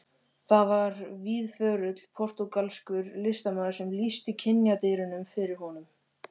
Það var víðförull portúgalskur listamaður sem lýsti kynjadýrinu fyrir honum.